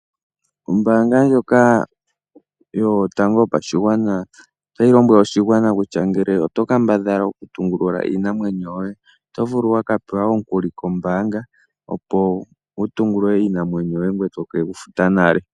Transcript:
Ombaanga ndjoka yotango yopashigwana otayi lombwele oshigwana kutya ngele oto kambadhala okutungulula iinamwenyo yoye oto vulu oku ka pewa omukuli kombaanga opo wu tungulule iinamwenyo yoye ngoye toya okufuta nale.